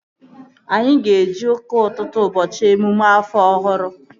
Anyị ga-eje ụka ụtụtụ ụbọchị emume afọ ọhụrụ